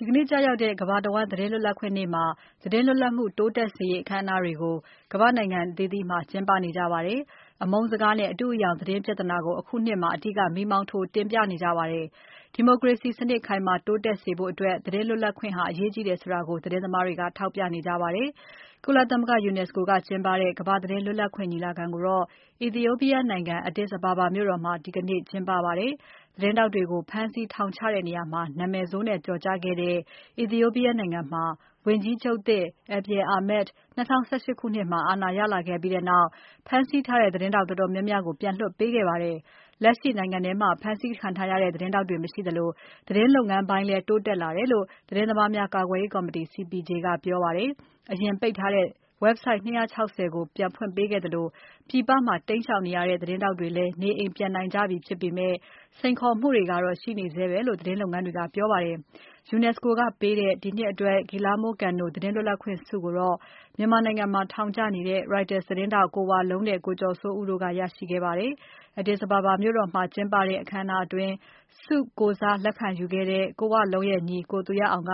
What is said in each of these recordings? ီကနေ့ကျရောက်တဲ့ ကမ္ဘာသတင်းလွတ်လပ်ခွင့်နေ့မှာ သတင်းလွတ်လပ်မှုတိုးတက်စေရေး အခမ်းအနားတွေကို ကမ္ဘာတဝန်းမှာ ကျင်းပနေကြပါတယ်။ အမုန်းစကားနဲ့ အတုအယောင်သတင်းပြဿနာကို အခုနှစ်မှာ အဓိက မီးမောင်းထိုးတင်ပြနေကြပါတယ်။ ဒီမိုကရေစီစနစ် ခိုင်မာတိုးတက်စေဖို့ သတင်းလွတ်လပ်ခွင့် အရေးကြီးတယ်ဆိုတာ သတင်းသမားတွေက ထောက်ပြနေကြပါတယ်။ ကုလသမဂ္ဂ UNESCO ကကျင်းပတဲ့ ကမ္ဘာသတင်း လွတ်လပ်ခွင့် ညီလာခံကိုတော့ Ethiopian နိုင်ငံ Addis Ababa မြို့တော်မှာ ဒီနှစ်ကျင်းပပါတယ်။ သတင်းထောက်တွေကို ဖမ်းဆီးထောင်ချတဲ့နေရာမှာ နာမည်ဆိုးနဲ့ကျော်ကြားတဲ့ Ethiopia နိုင်ငံမှာ ဝန်ကြီးချုပ်သစ် Abiy Ahmed ၂၀၁၈ ခုနှစ်မှာ အာဏာရလာခဲ့ပြီးနောက် ဖမ်းဆီးထားတဲ့ သတင်းထောက် တော်တော်များများကို ပြန်လွှတ်ပေးခဲ့ပါတယ်။ လက်ရှိနိုင်ငံထဲမှာ ဖမ်းဆီးခံထားရတဲ့ သတင်းထောက်တွေ မရှိသလို သတင်းလုပ်ငန်းပိုင်းလည်း တိုးတက်လာတယ်လို့ သတင်းသမားများ ကာကွယ်ရေးကော်မတီ CPJ ကပြောပါတယ်။ အရင်ပိတ်ထားတဲ့ Website ၂၆၀ ကိုဖွင့်ပေးခဲ့သလို ပြည်ပမှာ တိမ်းရှောင်နေရတဲ့ သတင်းထောက်တွေလဲ နေအိမ်ပြန်နိုင်ကြပြီဖြစ်ပေမဲ့ စိန်ခေါ်မှုတွေကတော့ ရှိနေဆဲပဲလို့ သတင်းလုပ်ငန်းတွေက ပြောပါတယ်။ UNESCO ကပေးတဲ့ ဒီနှစ်အတွက် Guillermo Cano သတင်းလွတ်လပ်ခွင့်ဆုကိုတော့ မြန်မာနိုင်ငံမှာ ထောင်ကျနေတဲ့ Reuters သတင်းထောက် ကိုဝလုံးနဲ့ ကိုကျော်စိုးဦးတို့က ရရှိခဲ့ကြပါတယ်။ Addis Ababa မြို့တော်မှာကျင်းပတဲ့ အခမ်းအနားအတွင်း ဆုကိုယ်စားလက်ခံယူခဲ့တဲ့ ကိုဝလုံးရဲ့ညီ ကိုသူရအောင်က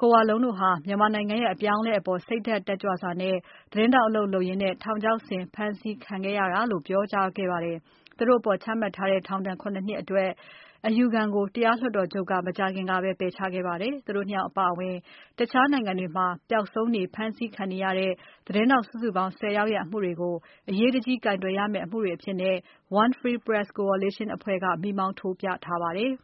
ကိုဝလုံးတို့ဟာ မြန်မာနိုင်ငံရဲ့အပြောင်းအလဲအပေါ် စိတ်ဓါတ်တက်ကြွစွာနဲ့ သတင်းထောက် အလုပ်လုပ်ရင်း ထောင်ချောက်ဆင် ဖမ်းဆီး ထောင်ချခံခဲ့ကြရတာဖြစ်တယ်လို့ ပြောကြားခဲ့ပါတယ်။ သူတို့အပေါ်ချမှတ်ထားတဲ့ ထောင်ဒဏ် ၇ နှစ်အတွက် အယူခံကို တရားလွှတ်တော်ချုပ်က မကြာခင်ကပဲ ပယ်ချခဲ့ပါတယ်။ သူတို့အပါအဝင် တခြားနိုင်ငံတွေမှာ ပျောက်ဆုံးနေ ဖမ်းဆီးခံနေတဲ့ သတင်းထောက် စုစုပေါင်း ၁၀ ယောက်ရဲ့ အမှုတွေကို အရေးတကြီးကိုင်တွယ်ရမယ့် အမှုတွေအဖြစ် One Free Press Coalition အဖွဲ့က မီးမောင်းထိုးပြခဲ့ပါတယ်။